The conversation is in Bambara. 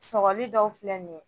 Sɔgɔli dɔw filɛ nin ye